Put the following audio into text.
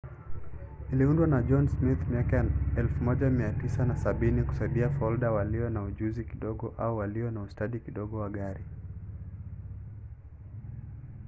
iliundwa na john smith miaka ya 1970 kusaidia folda walio na ujuzi kidogo au walio na ustadi kidogo wa gari